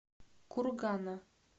кургана